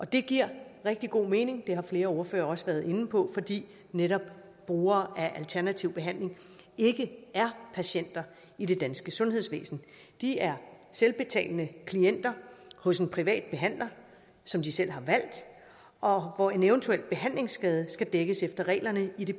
det giver rigtig god mening og det har flere ordførere også været inde på fordi netop brugere af alternativ behandling ikke er patienter i det danske sundhedsvæsen de er selvbetalende klienter hos en privat behandler som de selv har valgt og hvor en eventuel behandlingsskade skal dækkes efter reglerne i det